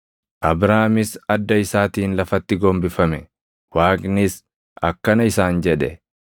Abraamis adda isaatiin lafatti gombifame; Waaqnis akkana isaan jedhe;